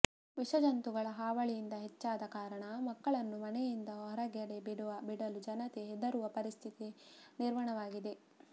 ವಿಷಜಂತುಗಳ ಹಾವಳಿ ಹೆಚ್ಚಾದ ಕಾರಣ ಮಕ್ಕಳನ್ನು ಮನೆಯಿಂದ ಹೊರಗಡೆ ಬಿಡಲು ಜನತೆ ಹೆದರುವ ಪರಿಸ್ಥಿತಿ ನಿರ್ವಣವಾಗಿದೆ